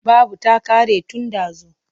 Babu ta ƙare tun ɗazu.